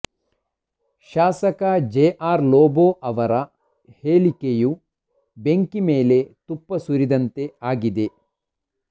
ಶಾಸಕ J R Lobo ಅವರ ಹೇಳಿಕೆಯು ಬೆಂಕಿ ಮೇಲೆ ತುಪ್ಪ ಸುರಿದಂತೆ ಆಗಿದೆ